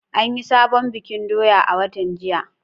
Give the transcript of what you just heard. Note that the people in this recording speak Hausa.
An yi sabon bikin doya a watan jiya.